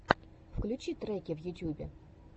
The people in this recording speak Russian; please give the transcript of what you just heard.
включи треки в ютьюбе